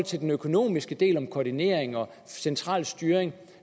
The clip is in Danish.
til den økonomiske del koordinering og central styring